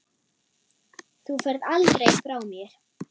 Þú ferð aldrei frá mér.